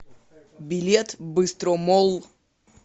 билет быстромолл